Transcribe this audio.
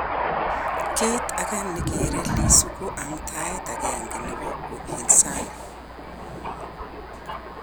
Kiit age ne kere Lissu ko amdaet agenge nebo upinsani